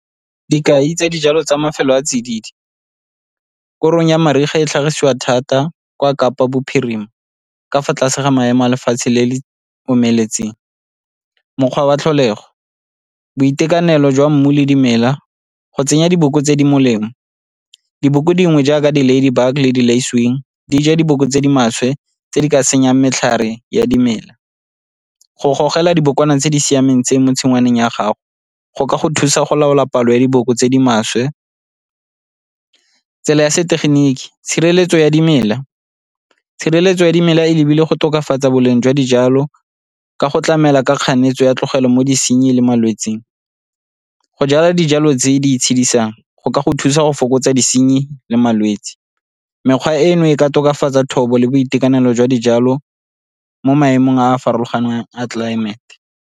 Dikai tsa dijalo tsa mafelo a a tsididi, korong ya mariga e tlhagisiwa thata kwa Kapa Bophirima ka fa tlase ga maemo a lefatshe le le omeletseng. Mokgwa wa tlholego, boitekanelo jwa mmu le dimela, go tsenya diboko tse di molemo. Diboko dingwe jaaka di-lady bug le di , di ja diboko tse di maswe tse di ka senyang matlhare ya dimela. Go gogela dibokwana tse di siameng tse mo tshingwaneng ya gago go ka go thusa go laola palo ya diboko tse di maswe. Tsela ya setegeniki, tshireletso ya dimela, tshireletso ya dimela e lebile go tokafatsa boleng jwa dijalo ka go tlamela ka kganetso ya tlogelo mo disenyi le malwetsing. Go jala dijalo tse di itshedisang go ka go thusa go fokotsa disenyi le malwetse. Mekgwa eno e ka tokafatsa thobo le boitekanelo jwa dijalo mo maemong a a farologaneng a tlelaemete.